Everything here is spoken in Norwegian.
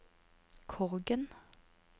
Korgen